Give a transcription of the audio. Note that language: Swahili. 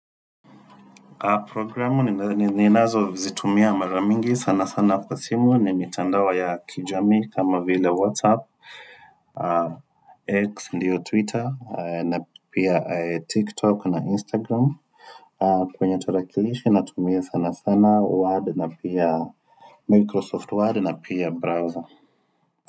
Programu ninazozitumia mara mingi sana sana kwa simu ni mitandao ya kijamii kama vile whatsapp x ndiyo twitter na pia tiktok na instagram kwenye tarakilishi natumia sana sana word na pia microsoft word na pia browser.